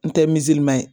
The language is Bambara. N tɛ ye